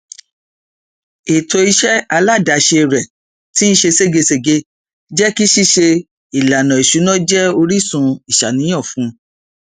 ètò iṣẹ aládàáse rẹ tín ṣe ṣégegège jékí ṣíṣe ìlànà ìṣúná jẹ orísun ìṣàníyàn fún